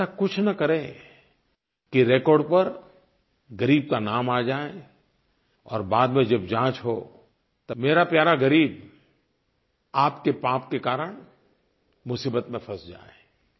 आप ऐसा कुछ न करें कि रेकॉर्ड पर ग़रीब का नाम आ जाए और बाद में जब जाँच हो तब मेरा प्यारा ग़रीब आपके पाप के कारण मुसीबत में फँस जाए